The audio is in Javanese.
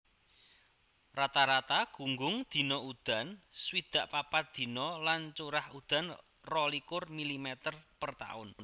Rata rata gunggung dina udan swidak papat dina lan curah udan rolikur milimeter per taun